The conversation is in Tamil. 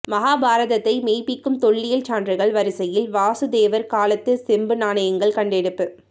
மகாபாரதத்தை மெய்ப்பிக்கும் தொல்லியல் சான்றுகள் வரிசையில் வசுதேவர் காலத்து செம்பு நாணயங்கள் கண்டெடுப்பு